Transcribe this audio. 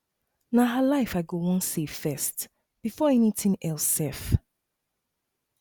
na her life i go wan save first before anything else sef